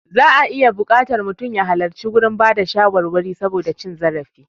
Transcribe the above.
Za'a iya buƙatar mutum ya halarci gurin bada shawarwari saboda cin zarafi.